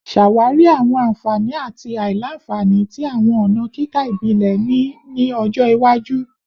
Ṣawari awọn anfani ati aila-nfani ti awọn ọna kika ibile ni ọjọ iwaju